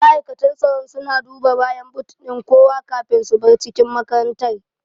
Ma'aikatan tsaro suna duba bayan but ɗin kowa kafin su bar cikin makarantar